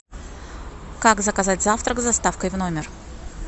как заказать завтрак с доставкой в номер